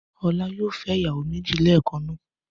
Ọlá yóò fẹ́ ìyàwó méjì ẹ̀ẹ̀kan náà.